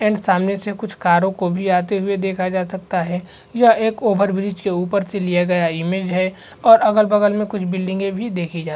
सामने से कुछ कारों को भी आते हुए देखा जा सकता है यह एक ओवरब्रिज के ऊपर से लिया गया इमेज है और अगल-बगल में कुछ बिल्डिंगे भी देखी जा --